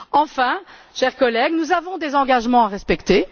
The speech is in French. Enfin, chers collègues, nous avons des engagements à respecter.